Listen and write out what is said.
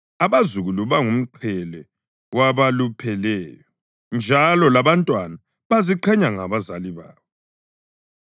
Abazukulu bangumqhele wabalupheleyo, njalo labantwana baziqhenya ngabazali babo.